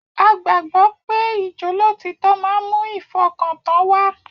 A gbàgbọ́ pé ijolotítọ́ máa ń mú ìfọkàntàn wá